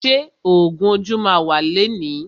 Ṣé ògún ojú ma wà lẹni?